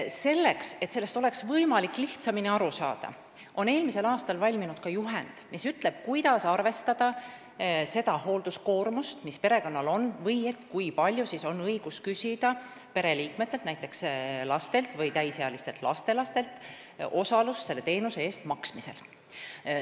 Selleks, et oleks võimalik kõigest lihtsamini aru saada, on eelmisel aastal valminud ka juhend, mis ütleb, kuidas arvestada seda hoolduskoormust, mis perekonnal on, või kui palju on üldse õigus küsida pereliikmetelt, näiteks lastelt või täisealistelt lastelastelt osalust selle teenuse eest maksmisel.